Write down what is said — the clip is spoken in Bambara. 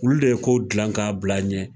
Olu de ye kow dilan k'a bil'an ɲɛ.